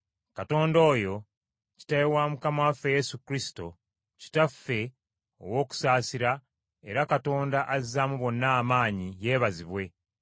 Katonda oyo Kitaawe wa Mukama waffe Yesu Kristo, Kitaffe ow’okusaasira era Katonda azaamu bonna amaanyi yeebazibwe,